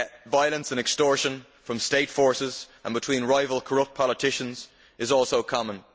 Violence and extortion by state forces and between rival corrupt politicians is also common.